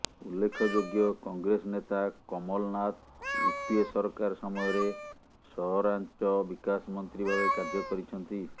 ଉଲ୍ଲେଖଯୋଗ୍ୟ କଂଗେସ ନେତା କମଲନାଥ ୟୁପିଏ ସରକାର ସମୟରେ ସହରାଞ୍ଚ ବିକାଶ ମନ୍ତ୍ରୀ ଭାବେ କାର୍ଯ୍ୟ କରିଛନ୍ତି